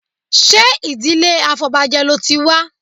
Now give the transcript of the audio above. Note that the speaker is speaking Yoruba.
Ṣé ìdílé afọbajẹ ló ti wá?